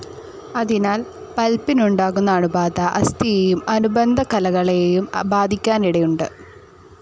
അതിനാൽ പൽപ്പിനുണ്ടാകുന്ന അണുബാധ അസ്ഥിയെയും അനുബന്ധ കലകളേയും ബാധിക്കാനിടയുണ്ട്.